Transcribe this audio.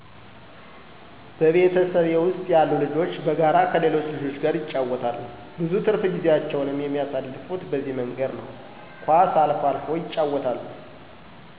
በቤተሰቤ ውስጥ ያሉ ልጆች በጋራ ከሌሎች ልጆች ጋር ይጫወታሉ። ብዙ ትርፍ ጊዜያቸውንም የሚያሳልፉት በዚህ መንገድ ነው። ኳስ አልፎ አልፎ ያጫውታሉ